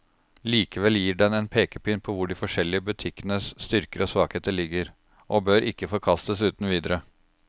Likevel gir den en pekepinn på hvor de forskjellige butikkenes styrker og svakheter ligger, og bør ikke forkastes uten videre.